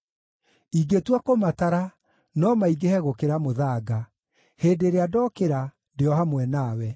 Ingĩtua kũmatara, no maingĩhe gũkĩra mũthanga. Hĩndĩ ĩrĩa ndokĩra, ndĩ o hamwe nawe.